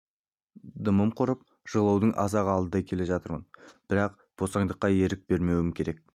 дымым құрып жығылудың аз-ақ алдында келе жатырмын бірақ босаңдыққа ерік бермеуім керек